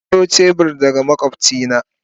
Na aro shebur daga makwabcina.